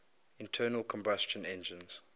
internal combustion engines